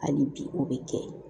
Hali bi o bɛ kɛ